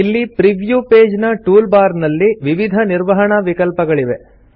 ಇಲ್ಲಿ preview page ನ toolbar ನಲ್ಲಿ ವಿವಿಧ ನಿರ್ವಹಣಾ ವಿಕಲ್ಪಗಳಿವೆ